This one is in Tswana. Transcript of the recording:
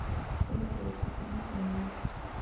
tsholo re etla gona jaanong